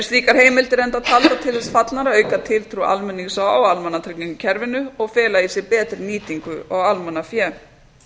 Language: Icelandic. slíkar heimildir enda taldar til þess fallnar að auka tiltrú almennings á almannatryggingakerfinu og fela í sér betri nýtingu á almannafé